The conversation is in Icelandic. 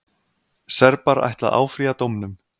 Serbar ætla að áfrýja dómnum.